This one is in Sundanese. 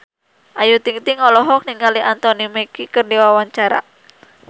Ayu Ting-ting olohok ningali Anthony Mackie keur diwawancara